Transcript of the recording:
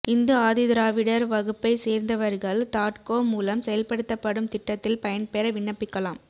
இந்து ஆதிதிராவிடர் வகுப்பை சேர்ந்தவர்கள் தாட்கோ மூலம் செயல்படுத்தப்படும் திட்டத்தில் பயன்பெற விண்ணப்பிக்கலாம்